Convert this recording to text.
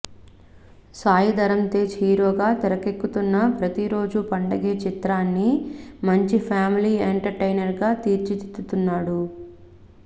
సాయి ధరమ్ తేజ్ హీరోగా తెరకెక్కుతున్న ప్రతిరోజూ పండగే చిత్రాన్ని మంచి ఫ్యామిలీ ఎంటర్టైనర్గా తీర్చిదిద్దుతున్నాడు